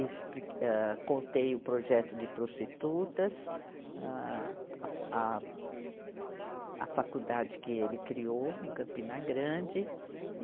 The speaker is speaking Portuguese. expli, âh, contei o projeto de prostitutas, âh, a, a, a faculdade que ele criou em Campina Grande.